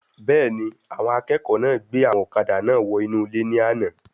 Bẹ́ẹ̀ni, àwọn akẹ́kọ̀ọ́ náà gbé àwọn ọ̀kadà náà wọ inú ilé ní àna